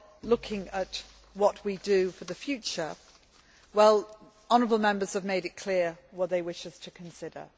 of looking at what we do for the future, honourable Members have made it clear what they wish us to consider.